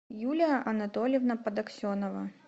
юлия анатольевна подоксенова